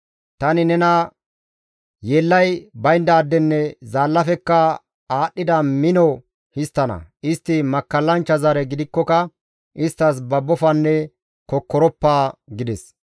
Tani nena yeellay bayndaadenne zaallafekka aadhdhida mino histtana; istti makkallanchcha zare gidikkoka isttas babbofanne kokkoroppa» gides.